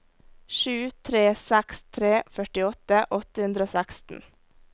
sju tre seks tre førtiåtte åtte hundre og seksten